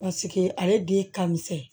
ale den ka misɛn